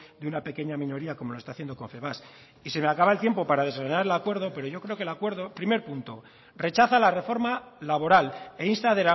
de una pequeña minoría como lo está haciendo confebask y se me acaba el tiempo para desgranar el acuerdo pero yo creo que el acuerdo primer punto rechaza la reforma laboral e insta